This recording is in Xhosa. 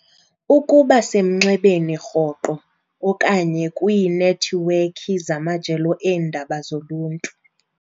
Ukuba semnxebeni rhoqo okanye kwiinethiwekhi zamajelo eendaba zoluntu.